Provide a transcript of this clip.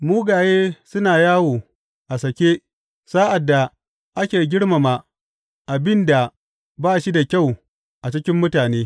Mugaye suna yawo a sake sa’ad da ake girmama abin da ba shi da kyau a cikin mutane.